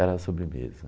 Era a sobremesa.